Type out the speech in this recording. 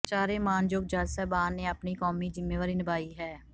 ਚਾਰੇ ਮਾਣਯੋਗ ਜੱਜ ਸਾਹਿਬਾਨ ਨੇ ਆਪਣੀ ਕੌਮੀ ਜ਼ਿੰਮੇਵਾਰੀ ਨਿਭਾਈ ਹੈ